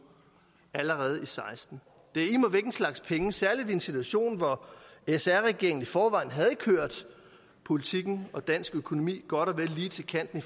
allerede og seksten det er immer væk en slags penge særlig i en situation hvor sr regeringen i forvejen havde kørt politikken og dansk økonomi godt og vel lige til kanten